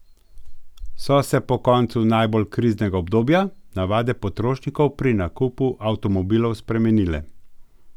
So se po koncu najbolj kriznega obdobja navade potrošnikov pri nakupu avtomobilov spremenile?